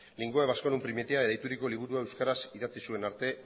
linguae vasconum primitiae deituriko liburua euskaraz idatzi zuen arte